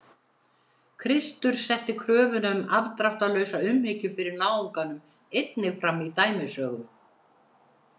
Kristur setti kröfuna um afdráttarlausa umhyggju fyrir náunganum einnig fram í dæmisögum.